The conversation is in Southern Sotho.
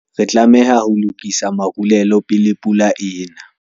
re tlameha ho lokisa marulelo pele pula e ena